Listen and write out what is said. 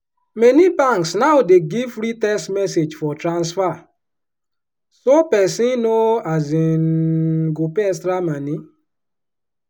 many banks now dey give free text message for transfer so peson no um go pay extra moni.